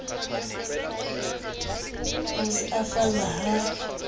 o se o falla ha